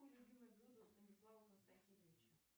какое любимое блюдо у станислава константиновича